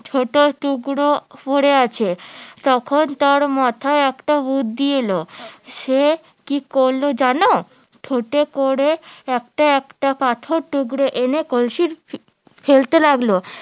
ছোট টুকরো পরে আছে তখন তার মাথায় একটা বুদ্ধি এলো সে কি করলো জানো ঠোঁটে করে একটা একটা করে পাথর টুকরো এনে কলসির ফেলতে লাগলো